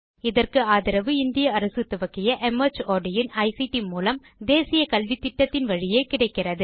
இதற்கு ஆதரவு இந்திய அரசு துவக்கிய மார்ட் இன் ஐசிடி மூலம் தேசிய கல்வித்திட்டத்தின் வழியே கிடைக்கிறது